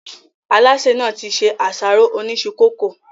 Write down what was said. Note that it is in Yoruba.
Alásè nàá ti ṣe àsáró Oni isu coco